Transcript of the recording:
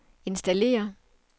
installere